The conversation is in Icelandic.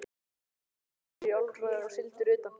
Presturinn þar er í orlofi og sigldur utan.